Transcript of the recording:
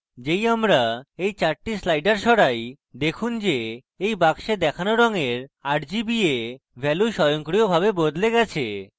যেই আমি এই 4টি sliders সরাই দেখুন যে এই বাক্সে দেখানো রঙের rgba ভ্যালু স্বয়ংক্রিয়ভাবে বদলে যায়